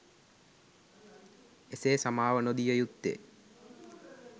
එසේ සමාව නොදිය යුත්තේ